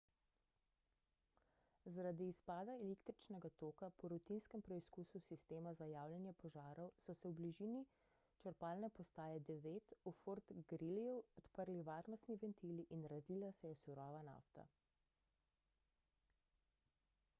zaradi izpada električnega toka po rutinskem preizkusu sistema za javljanje požarov so se v bližini črpalne postaje 9 v fort greelyju odprli varnostni ventili in razlila se je surova nafta